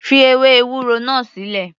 Fi ewé ewúro náà sílẹ̀.